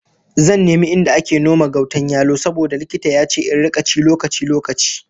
Zan nemi inda ake noma gautan yalo saboda likita ya ce in rika ci lokaci-lokaci